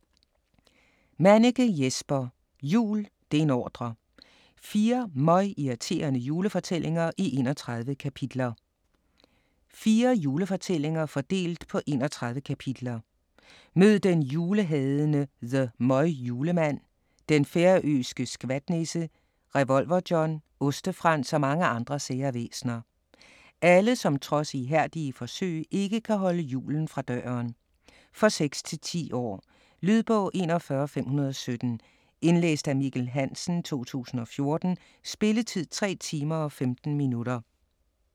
Manniche, Jesper: Jul - det er en ordre!: 4 møgirriterende julefortællinger i 31 kapitler Fire julefortællinger, fordelt på 31 kapitler. Mød den julehadende The Møgjuleman, den færøske Skvatnisse, Revolver-John, Oste-Frans og mange andre sære væsener. Alle som trods ihærdige forsøg ikke kan holde julen fra døren. For 6-10 år. Lydbog 41517 Indlæst af Mikkel Hansen, 2014. Spilletid: 3 timer, 15 minutter.